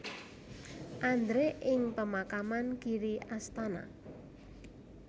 Andre ing pemakaman Giri Astana